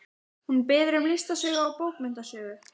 Hún biður um listasögu og bókmenntasögu.